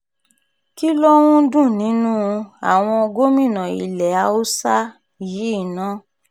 kí ló ń dún nínú um àwọn gómìnà ilẹ̀ haúsá um yìí ná